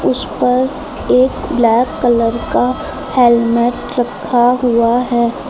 उस पर एक ब्लैक कलर का हेलमेट रखा हुआ है।